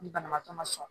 Ni banabaatɔ ma sɔn